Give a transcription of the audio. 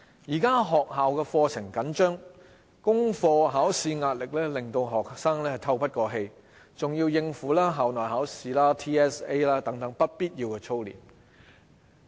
現時學校課程緊迫，功課考試壓力令學生透不過氣，還要應付校內考試、TSA 等不必要的操練。